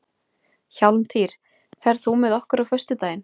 Hjálmtýr, ferð þú með okkur á föstudaginn?